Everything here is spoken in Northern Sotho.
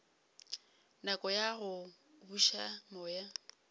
nako ya go buša moya